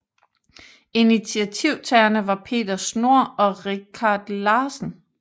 Initiativtagerne var Peter Schnohr og Richard Larsen